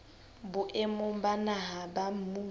boemong ba naha ba mmuso